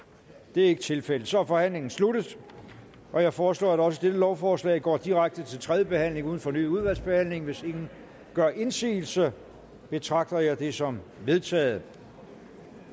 det er ikke tilfældet så er forhandlingen sluttet jeg foreslår at også dette lovforslaget går direkte til tredje behandling uden fornyet udvalgsbehandling hvis ingen gør indsigelse betragter jeg dette som vedtaget